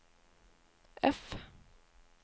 F